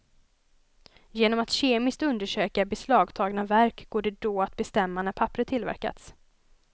Genom att kemiskt undersöka beslagtagna verk går det då att bestämma när papperet tillverkats.